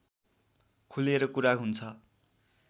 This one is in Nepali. खुलेर कुरा हुन्छ